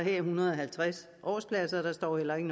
en hundrede og halvtreds årspladser der står heller ikke